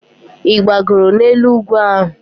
Ị gbagoro n'elu ugwu ahụ?